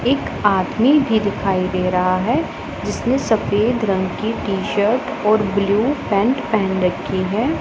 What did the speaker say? एक आदमी भी दिखाई दे रहा है जिसने सफेद रंग की टी शर्ट और ब्लू पेंट पहन रखी है।